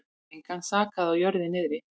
Engan sakaði á jörðu niðri.